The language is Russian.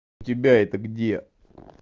тебя это где